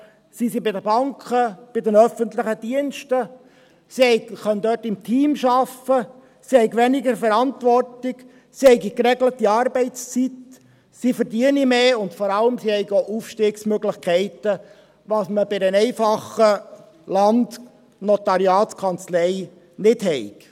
Sie seien bei den Banken, bei den öffentlichen Diensten, wo sie im Team arbeiten könnten, weniger Verantwortung und geregelte Arbeitszeiten hätten, mehr verdienten, und vor allem: Sie hätten Aufstiegsmöglichkeiten, was man bei einer einfachen Landnotariatskanzlei nicht habe.